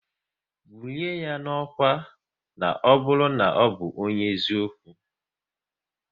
Bulie ya n'ọkwá na ọ bụrụ na ọbụ onye eziokwu!